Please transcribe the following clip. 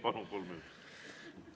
Palun, kolm minutit!